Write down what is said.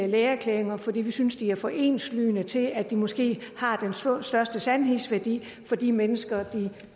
lægeerklæringer fordi vi synes de er for enslydende til at de måske har den største sandhedsværdi for de mennesker